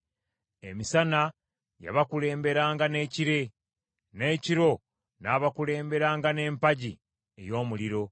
Emisana yabakulemberanga n’ekire, n’ekiro n’abakulemberanga n’empagi ey’omuliro.